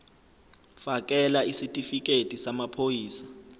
fakela isitifikedi samaphoyisa